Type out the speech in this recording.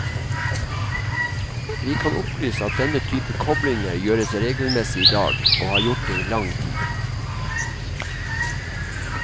Vi kan opplyse at denne type koblinger gjøres regelmessig i dag, og har gjort det i lang tid.